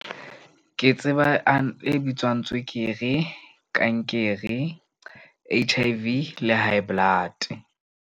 Ke tseba a e bitswang tswekere, kankere, H_I_V le high blood-e.